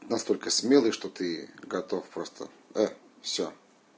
настолько смелый что ты готов просто всё